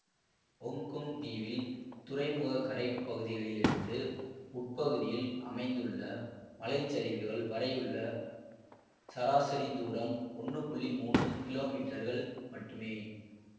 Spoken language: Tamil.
ஒங்கொங் தீவில் துறைமுகக் கரைப் பகுதிகளிலிருந்து உட்பகுதியில் அமைந்துள்ள மலைச்சரிவுகள் வரையுள்ள சராசரித் தூரம் ஒன்னு புள்ளி மூனு கிலோமீட்டர்கள் மட்டுமே